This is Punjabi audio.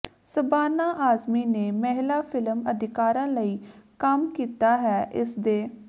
ਸ਼ਬਾਨਾ ਆਜ਼ਮੀ ਨੇ ਮਹਿਲਾ ਫਿਲਮ ਅਦਾਕਾਰਾਂ ਲਈ ਕੰਮ ਕੀਤਾ ਹੈ ਇਸਦੇ